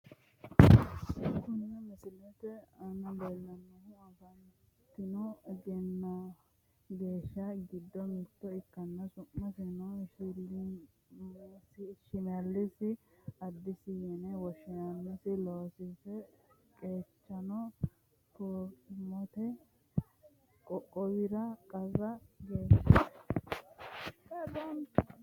Kunni misilete aanna la'neemohu afantino gashaano gido mitto ikkanna su'masino shimelisi adissa yine woshinnanniho loosisi qeecino promote qoqowira qara gashaanchooti.